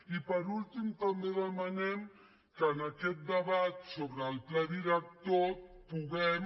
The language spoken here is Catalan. i per últim també demanem que en aquest debat sobre el pla director puguem